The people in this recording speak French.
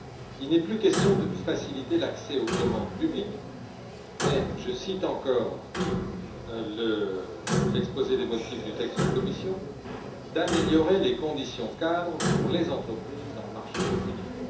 Il n'est plus question de faciliter l'accès aux commandes publiques, mais je cite encore l'exposé des motifs du texte de la Commission d'améliorer les conditions cadres pour les entreprises dans le marché unique.